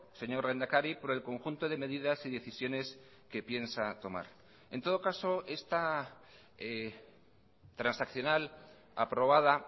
señor lehendakari por el conjunto de medidas y decisiones que piensa tomar en todo caso esta transaccional aprobada